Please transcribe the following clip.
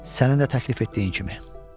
Sənin də təklif etdiyin kimi.